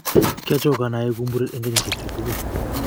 kiachokan aekuu muren eng kinyishe chu tugul.